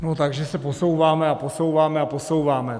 Takže se posouváme a posouváme a posouváme.